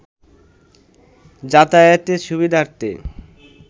যাতায়াতের সুবিধার্থে